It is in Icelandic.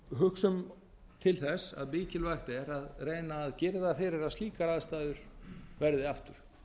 hugsum til þess að mikilvægt er að reyna að girða fyrir að slíkar aðstæður verði aftur